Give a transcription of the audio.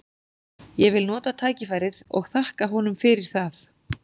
Ég vil nota tækifærið og þakka honum fyrir það.